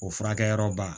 O furakɛyɔrɔba